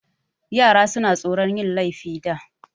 Yara suna tsoron yin laifi da.